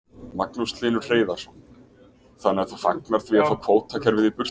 Magnús Hlynur Hreiðarsson: Þannig að þú fagnar því að fá kvótakerfið í burtu?